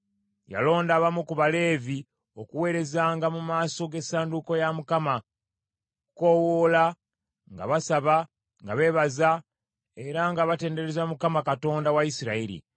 Yalonda abamu ku Baleevi okuweerezanga mu maaso g’essanduuko ya Mukama , okukoowoola nga basaba, nga beebaza, era nga batendereza Mukama , Katonda wa Isirayiri.